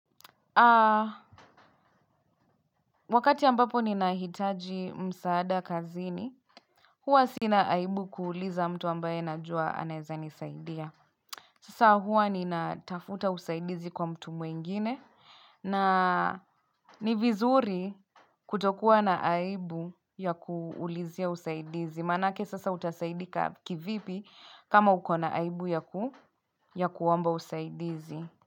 Wakati ambapo ninahitaji msaada kazini, huwa sina aibu kuuliza mtu ambaye najua anaeza nisaidia. Sasa huwa ni natafuta usaidizi kwa mtu mwingine na ni vizuri kutokuwa na aibu ya kuulizia usaidizi. Manake sasa utasaidika kivipi kama uko na aibu ya kuomba usaidizi.